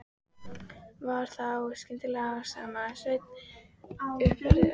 Var þá skyndilega sem Sveinn umhverfðist allur.